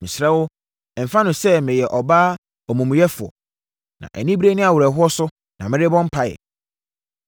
Mesrɛ wo, mfa no sɛ meyɛ ɔbaa omumuyɛfoɔ. Na anibereɛ ne awerɛhoɔ so na merebɔ mpaeɛ.”